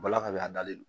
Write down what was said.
Bɔla ka bɛn a dalen no